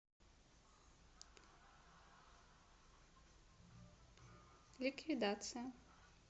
ликвидация